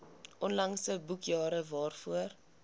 onlangse boekjare waarvoor